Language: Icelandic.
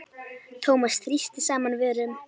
Thomas þrýsti saman vörum.